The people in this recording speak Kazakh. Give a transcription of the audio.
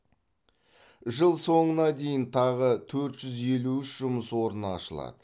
жыл соңына дейін тағы төрт жүз елу үш жұмыс орны ашылады